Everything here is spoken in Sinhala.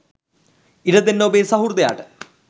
ඉඩ දෙන්න ඔබේ සහෘදයාට